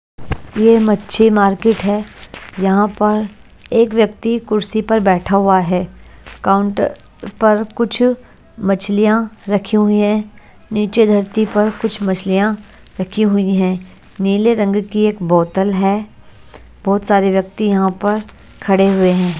यह मच्छी मार्केट है यहाँ पर एक व्यक्ति कुर्सी पर बैठा हुआ है काउंटर पर कुछ मछलियां रखी हुई है नीचे धरती पर कुछ मछलियां रखी हुई हैं नीले रंग की एक बोतल है बहुत सारे व्यक्ति यहाँ पर खड़े हुए हैं।